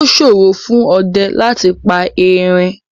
Yóò ṣòro fún ọdẹ láti pa Erin